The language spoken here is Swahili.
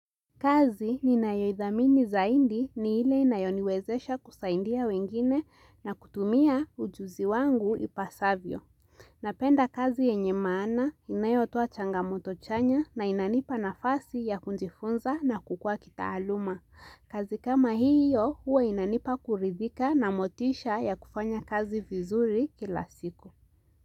Kazi ninayo ithamini zaidi ni ile inayoniwezesha kusaidia wengine na kutumia ujuzi wangu ipasavyo. Napenda kazi yenye maana, inayotoa changamoto chanya na inanipa nafasi ya kujifunza na kukua kitaaluma. Kazi kama hiyo, huwa inanipa kurithika na motisha ya kufanya kazi vizuri kila siku.